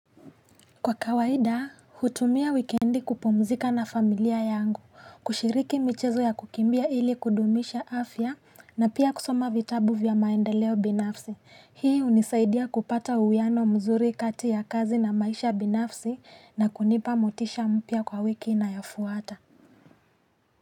Kwa kawaida hutumia wikendi kupumzika na familia yangu kushiriki michezo ya kukimbia ili kudumisha afya na pia kusoma vitabu vya maendeleo binafsi hii hunisaidia kupata uwiano mzuri kati ya kazi na maisha binafsi na kunipa motisha mpya kwa wiki inayofuata.